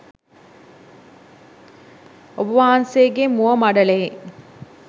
ඔබවහන්සේගේ මුව මඬලෙහි